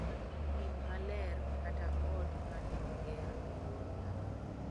Thim maler kata ot ma ne oger e yor lamo.